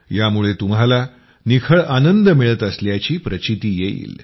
यामुळे तुम्हाला निखळ आनंद मिळत असल्याची प्रचिती येईल